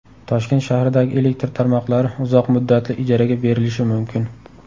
Toshkent shahridagi elektr tarmoqlari uzoq muddatli ijaraga berilishi mumkin.